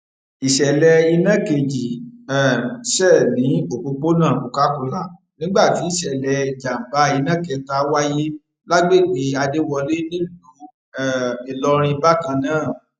ìṣẹlẹ iná kejì um ṣe ní òpópónà cocacola nígbà tí ìṣẹlẹ ìjàmbá iná kẹta wáyé lágbègbè adéwọlé nílùú um ìlọrin bákan náà